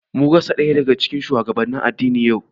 Mun rasa ɗaya daga cikin shugabannin addini yau